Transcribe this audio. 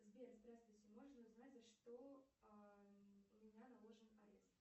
сбер здравствуйте можно узнать за что у меня наложен арест